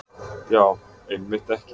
Já, einmitt ekki.